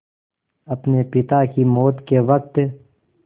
अपने पिता की मौत के वक़्त